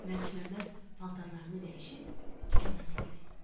Məlikməmməd paltarlarını dəyişib dükanına gəldi.